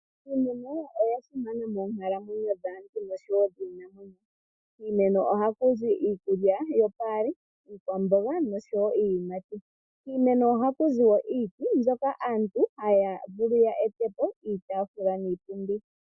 Iimeno oya simana moonkalamwenyo dhaantu nosho wo dhiinamwenyo. Kiimeno ohaku zi iikulya yomaludhi gopaali, iiyimati niikwamboga. Kiimemo ohaku zi wo iiti mbyoka hayi vulu okulongithwa kaantu opo ya ete po iitaafula niipundi.